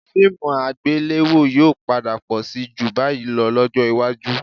Fíìmù àgbéléwò yóò padà pọ̀ síi ju báyìí lọ lọ́jọ́ iwájú